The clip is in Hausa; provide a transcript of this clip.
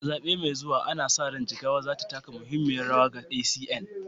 A zaɓe mai zuwa, ana sa ran Jigawa za ta taka muhimmiyar rawa ga ACN.